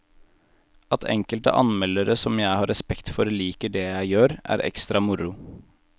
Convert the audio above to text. At enkelte anmeldere som jeg har respekt for liker det jeg gjør, er ekstra moro.